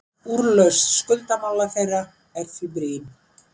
Úrlausn skuldamála þeirra er því brýn.